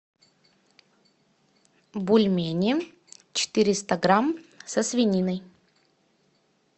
бульмени четыреста грамм со свининой